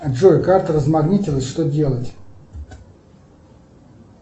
джой карта размагнитилась что делать